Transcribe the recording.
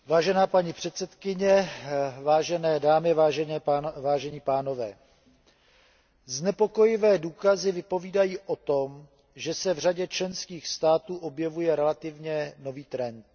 Vážená paní předsedkyně, vážené dámy, vážení pánové, znepokojivé důkazy vypovídají o tom, že se v řadě členských států objevuje relativně nový trend.